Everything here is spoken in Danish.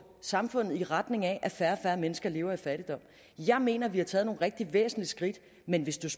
samfundet i retning af at færre mennesker lever i fattigdom jeg mener at vi har taget nogle rigtig væsentlige skridt men hvis